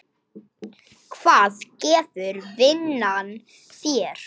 Hvað gefur vinnan þér?